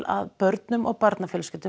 að börnum og barnafjölskyldum